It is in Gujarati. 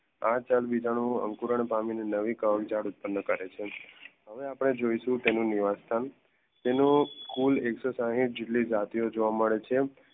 આ ચલબીજાનુંઓ અંકુરન પામી ને નવી કવક જડ ઉત્પન કરે છે, હવે આપણે જોઈશું તેનું નિવાસસ્થાન તેનું કૂલ એકસોસહિત જેટલી જાતીયો જોવા મેડ છે